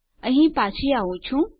હું અહીં પાછો આઉં છું